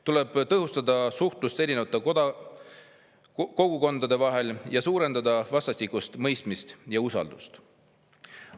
Tuleb tõhustada suhtlust erinevate kogukondade vahel ja suurendada vastastikust mõistmist ja usaldust.